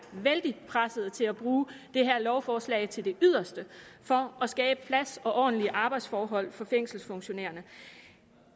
vældig presset til at bruge det her lovforslag til det yderste for at skabe plads og ordentlige arbejdsforhold for fængselsfunktionærerne